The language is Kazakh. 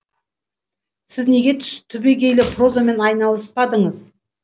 сіз неге түбегейлі прозамен айналыспадыңыз